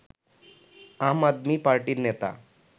আম আদমি পার্টির নেতা